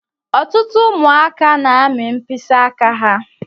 Ọtụtụ ụmụaka n'ami mkpịsị áká ha.